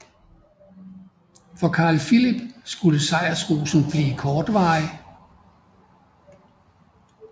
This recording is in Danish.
For Karl Filip skulle sejrsrusen blive kortvarig